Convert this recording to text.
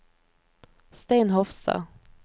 Stein Hofstad